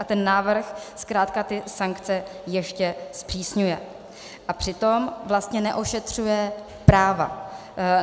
A ten návrh zkrátka ty sankce ještě zpřísňuje, a přitom vlastně neošetřuje práva.